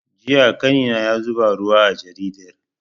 Jiya ƙanina ya zuba ruwa a jaridar